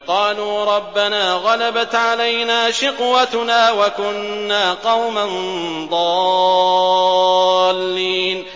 قَالُوا رَبَّنَا غَلَبَتْ عَلَيْنَا شِقْوَتُنَا وَكُنَّا قَوْمًا ضَالِّينَ